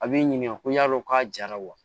A b'i ɲininka ko yalo k'a jara wa